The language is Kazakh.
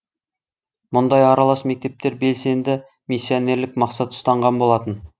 мұндай аралас мектептер белсенді миссионерлік мақсат ұстанған болатын